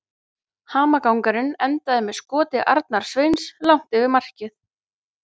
Hamagangurinn endaði með skoti Arnars Sveins langt yfir markið.